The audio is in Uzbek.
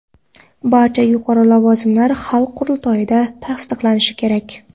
Barcha yuqori lavozimlar xalq qurultoyida tasdiqlanishi kerak.